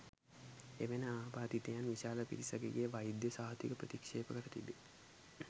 එවැනි ආබාධිතයන් විශාල පිරිසකගේ වෛද්‍ය සහතික ප්‍රතික්ෂේප කර තිබේ.